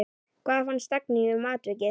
Hvað fannst Dagný um atvikið?